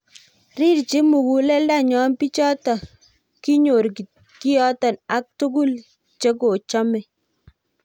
rirchin muguleldenyo bichoto kinyor kiyoto ak tugul chekochomei